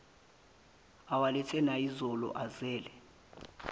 awalethe nayizolo uzele